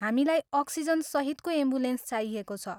हामीलाई अक्सिजनसहितको एम्बुलेन्स चाहिएको छ।